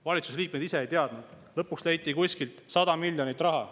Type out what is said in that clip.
Valitsuse liikmed ise ei teadnud seda, lõpuks leiti kuskilt 100 miljonit eurot.